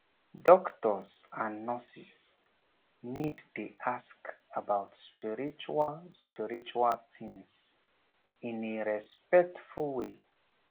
doctors and nurses need dey ask about spiritual spiritual things in a respectful way